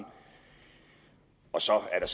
så er